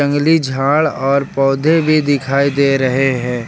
जंगली झाड़ और पौधे भी दिखाई दे रहे हैं।